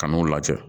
Kan'u lajɛ